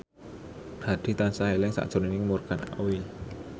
Hadi tansah eling sakjroning Morgan Oey